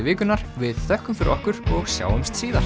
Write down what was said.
vikunnar við þökkum fyrir okkur í og sjáumst síðar